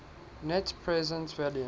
net present value